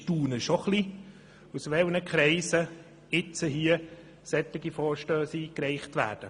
Ich bin schon erstaunt, aus welchen Kreisen jetzt solche Vorstösse eingereicht werden.